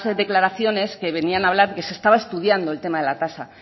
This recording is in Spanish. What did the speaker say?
declaraciones que venían hablar que se estaba estudiando el tema de la tasa